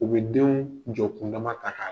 U bɛ denw jɔ kundama ta k'a